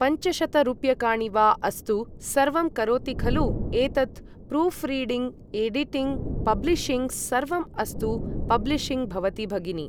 पञ्चशतरूप्यकाणि वा अस्तु सर्वं करोति खलु एतत् प्रूफ्रिडिङ्ग्, एडिटिङ्ग्, पब्लिशिङ्ग्, सर्वम् अस्तु पब्लिशिङ्ग् भवति भगिनि ।